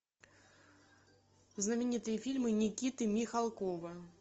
знаменитые фильмы никиты михалкова